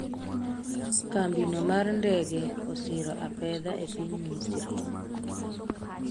kambino mar ndege osiro apedha e piny Misri